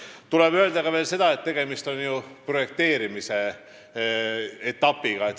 Veel tuleb öelda seda, et tegemist on projekteerimisetapiga.